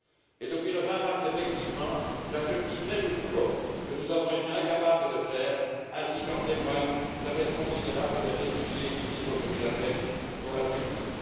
Et depuis le 20 mars, effectivement, la Turquie fait le boulot que nous avons été incapables de faire, ainsi qu'en témoigne la baisse considérable du nombre de réfugiés qui quittent aujourd'hui la Grèce pour la Turquie.